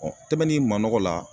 Ɔn tɛbɛn ni manɔgɔ la